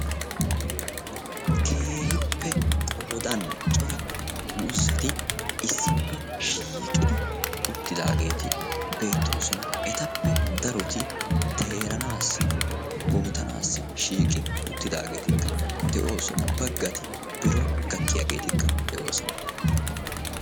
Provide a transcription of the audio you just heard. keehippe qooddan cora muuzeti issippe shiiqid uttidaageti beettoosona etappe darotti teeranassi bootanassi shiiqi uttidaageeti de'oosona baggati biron gakkiyageetikka de'oosona.